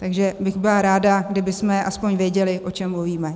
Takže bych byla ráda, kdybychom aspoň věděli, o čem mluvíme.